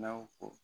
N'aw ko